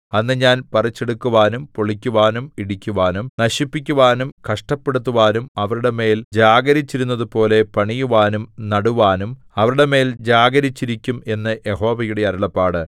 അന്ന് ഞാൻ പറിച്ചെടുക്കുവാനും പൊളിക്കുവാനും ഇടിക്കുവാനും നശിപ്പിക്കുവാനും കഷ്ടപ്പെടുത്തുവാനും അവരുടെ മേൽ ജാഗരിച്ചിരുന്നതുപോലെ പണിയുവാനും നടുവാനും അവരുടെ മേൽ ജാഗരിച്ചിരിക്കും എന്ന് യഹോവയുടെ അരുളപ്പാട്